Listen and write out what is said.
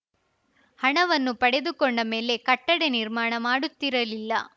ಹಣವನ್ನು ಪಡೆದುಕೊಂಡ ಮೇಲೆ ಕಟ್ಟಡ ನಿರ್ಮಾಣ ಮಾಡುತ್ತಿರಲಿಲ್ಲ